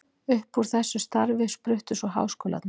Upp úr þessu starfi spruttu svo háskólarnir.